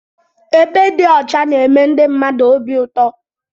Ebe dị ọcha na-eme ndị mmadụ obi ụtọ.